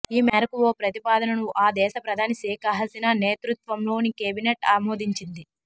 ఈ మేరకు ఓ ప్రతిపాదనను ఆ దేశ ప్రధాని షేక్ హసీనా నేతృత్వంలోని కెబినేట్ ఆమోదించింది